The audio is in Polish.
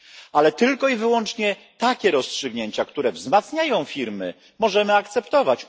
Ale tylko i wyłącznie takie rozstrzygnięcia, które wzmacniają firmy, możemy akceptować.